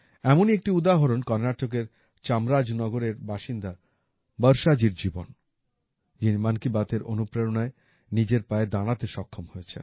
এমনই একটি উদাহরণ কর্ণাটকের চামরাজনগরের বাসিন্দা বর্ষাজির জীবন যিনি মন কী বাতএর অনুপ্রেরণায় নিজের পায়ে দাঁড়াতে সক্ষম হয়েছেন